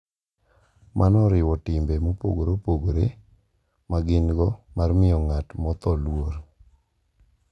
Mano oriwo timbe mopogore opogore ma gin-go mar miyo ng’at motho luor .